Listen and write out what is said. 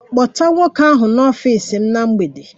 Kpọta nwoke ahụ n'ọfịs m na mgbede!